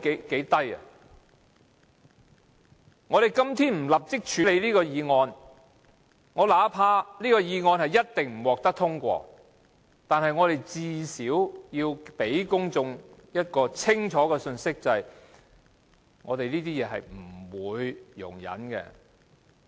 如果我們今天不立即處理這項議案——儘管這項議案一定不獲通過，但至少也要向公眾發出清楚的信息：我們對此等事情絕不容忍。